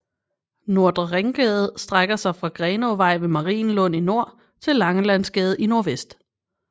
Nordre Ringgade strækker sig fra Grenåvej ved Marienlund i nord til Langelandsgade i nordvest